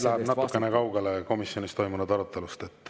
Nüüd läks see natuke kaugele komisjonis toimunud arutelust.